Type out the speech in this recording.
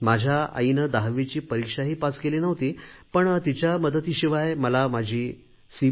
माझ्या आईने दहावीची परीक्षाही पास केली नव्हती पण तिच्या मदतीशिवाय मला माझी सी